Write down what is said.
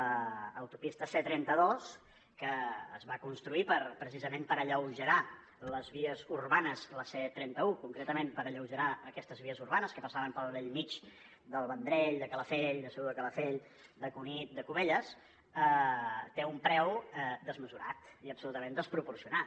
l’autopista c trenta dos que es va construir per precisament alleugerir les vies urbanes la c trenta un concretament per alleugerir aquestes vies urbanes que passaven pel bell mig del vendrell de calafell de segur de calafell de cunit de cubelles té un preu desmesurat i absolutament desproporcionat